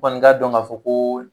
Kɔni ka dɔn ka fɔ ko